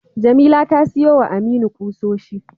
Jamila ta siyowa Aminu kusoshi.